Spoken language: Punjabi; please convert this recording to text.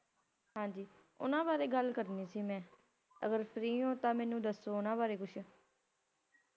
ਹਾਂਜੀ ਓਹਨਾ ਵਾਰੇ ਗਲ ਕਰਨੀ ਸੀ ਮੈ ਅਗਰ Free ਹੋ ਤਾਂ ਮੈਨੂੰ ਦਸੋ ਓਹਨਾ ਵਾਰੇ ਕੁੱਛ